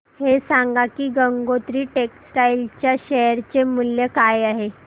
हे सांगा की गंगोत्री टेक्स्टाइल च्या शेअर चे मूल्य काय आहे